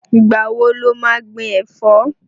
Ìgbà wo lo má gbin ẹ̀fọ́?